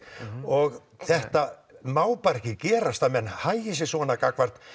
og þetta má bara ekki gerast að menn hagi sér svona gagnvart